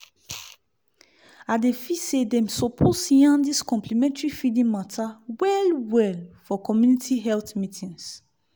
i dey feel say dem suppose yarn dis complementary feeding mata well-well for community health meetings